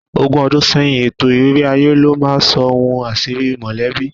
Ogún ọdún sẹ́yìn, ètò ìrírí aye ló máa ń sọ ohun àṣírí mọ̀lẹ́bí